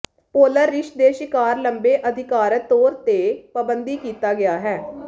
polar ਰਿੱਛ ਦੇ ਸ਼ਿਕਾਰ ਲੰਬੇ ਅਧਿਕਾਰਤ ਤੌਰ ਤੇ ਪਾਬੰਦੀ ਕੀਤਾ ਗਿਆ ਹੈ